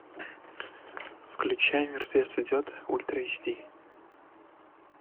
включай мертвец идет ультра эйч ди